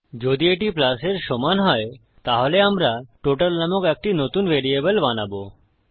যদি এটি প্লাস এর সমান হয় তাহলে আমরা টোটাল নামক একটি নতুন ভ্যারিয়েবল বানাবো